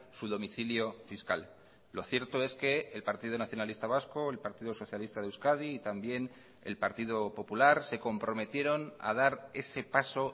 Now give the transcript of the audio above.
su domicilio fiscal lo cierto es que el partido nacionalista vasco el partido socialista de euskadi y también el partido popular se comprometieron a dar ese paso